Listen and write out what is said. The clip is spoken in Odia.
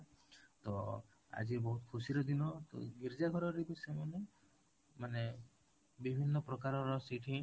ତ ଆଜି ବହୁତ ଖୁସିର ଦିନ ତ ଗୀର୍ଜା ଘର ରେ ବି ସେମାନେ ମାନେ ବିଭିନ୍ନ ପ୍ରକାର ର ସେଠି